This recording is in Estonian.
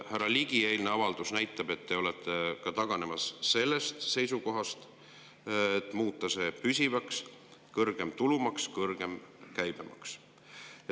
Härra Ligi eilne avaldus näitab, et te olete taganemas ka sellest seisukohast, muutes selle püsivaks: kõrgem tulumaks, kõrgem käibemaks.